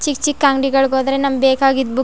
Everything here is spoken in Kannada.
ಚಿಕ್ ಚಿಕ್ ಅಂಗಡಿಗಳು ಬಂದ್ರೆ ನಮಗೆ ಬೇಕಾಗಿದು ಬುಕ್ --